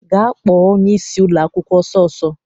Gaa kpọọ onyeisi ụlọakwụkwọ ọsọ ọsọ!